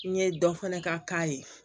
N ye dɔ fana ka k'a ye